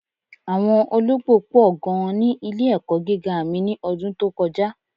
Awọn ọlọgbo pọ̀ gan ni ilẹ̀-ẹ̀kọ́ gígá mí ni ọ̀dún tó kọja.